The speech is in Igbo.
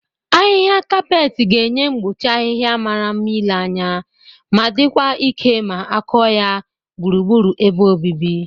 Ahịha kaapet ga-enye mgbochi ahịha mara mma ile anya ma dịkwa ike ma akụ ya gburugburu ebe obibi